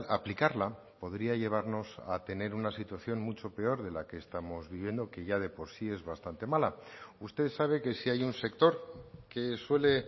aplicarla podría llevarnos a tener una situación mucho peor de la que estamos viviendo que ya de por sí es bastante mala usted sabe que si hay un sector que suele